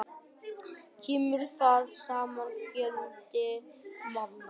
Kemur þar saman fjöldi manna.